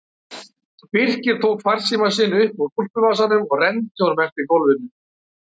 Birkir tók farsímann sinn upp úr úlpuvasanum og renndi honum eftir gólfinu.